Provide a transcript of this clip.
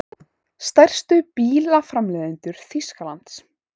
Stærstu bílaframleiðendur Þýskalands.